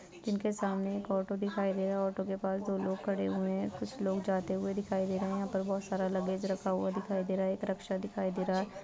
जिनके सामने एक ऑटो दिखाई दे रहा है ऑटो के पास दो लोग खड़े हुए हैं कुछ लोग जाते हुए दिखाई दे रहे हैं यहां पर बहुत सारा लगेज रखा हुआ दिखाई दे रहा एक रक्शा दिखाई दे रहा है।